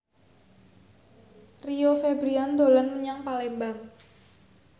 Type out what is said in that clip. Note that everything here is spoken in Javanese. Rio Febrian dolan menyang Palembang